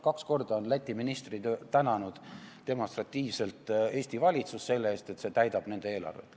Kaks korda on Läti ministrid demonstratiivselt tänanud Eesti valitsust selle eest, et see täidab nende eelarvet.